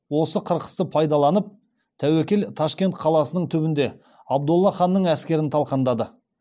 осы қырқысты пайдаланып тәуекел ташкент қаласының түбінде абдолла ханның әскерін талқандады